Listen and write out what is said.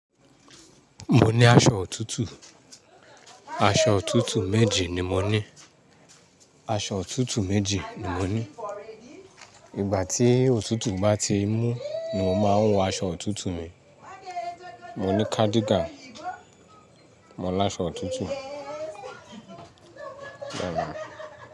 Mo ní aṣọ òtútù. Aṣọ òtútù méjì ni mo ní. Aṣọ òtútù méjì ni mo ní. Ìgbà tí òtútù bá ti mú ni màá wọ aṣọ òtútù mi. Mò ní cardigan, mò ní aṣọ òtútù.